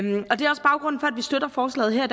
vi støtter forslaget her